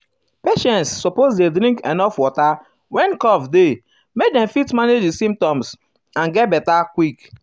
patients suppose dey drink enuf water when cough um dey make dem fit manage di symptoms and symptoms and get beta quick.